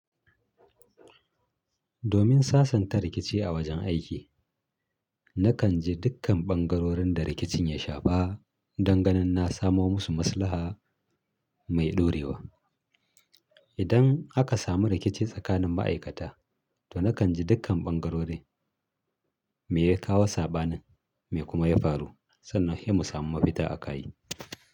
Domin sasanta rikici a wajen aiki, na kan ji dukkan ɓangarorin da rikicin ya shafa don ganin na samo musu maslaha mai ɗorewa. Idan aka samu rikici tsakanin ma'aikata, to na kan ji dukkan ɓangarori me ya kawo saɓanin me kuma ya faru sannan he mu samu mafita aka yi.